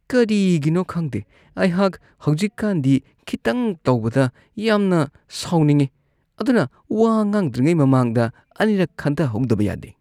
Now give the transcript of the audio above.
ꯀꯔꯤꯒꯤꯅꯣ ꯈꯪꯗꯦ, ꯑꯩꯍꯥꯛ ꯍꯧꯖꯤꯛꯀꯥꯟꯗꯤ ꯈꯤꯇꯪ ꯇꯧꯕꯗ ꯌꯥꯝꯅ ꯁꯥꯎꯅꯤꯡꯉꯤ ꯑꯗꯨꯅ ꯋꯥ ꯉꯥꯡꯗ꯭ꯔꯤꯉꯩ ꯃꯃꯥꯡꯗ ꯑꯅꯤꯔꯛ ꯈꯟꯊꯍꯧꯗꯕ ꯌꯥꯗꯦ ꯫